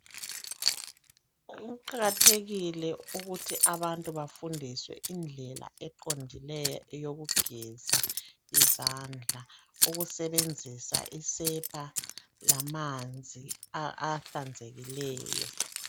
Kuqakathekile ukuthi abantu bafundiswe indlela eqondileyo eyokugeza izandla ukusebenzisa isepa lamanzi a ahlanzekileyo.